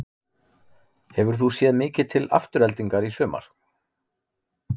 Hefur þú séð mikið til Aftureldingar í sumar?